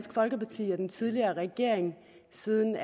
folkeparti og den tidligere regering siden